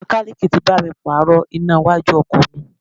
Mekaniiki tí bá mi pààrò iná iwájú ọkọ̀ mi.